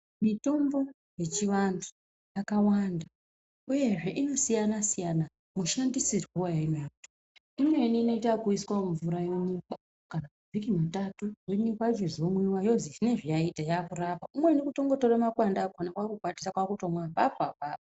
Mitombo yechivantu yakawanda uyezve inosiyana-siyana mushandisirwo yawunoyita, imweni inoyita wokuyiswa mumvura yonyikwa muvhiki mutatu yonyikwa yomwiwa yochizozwi zvinezvi yakurapa, umweni kutongotora makwande akona kwakukwatisa kwakutomwa apapo apapo.